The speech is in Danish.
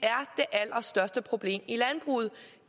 allerstørste problem i landbruget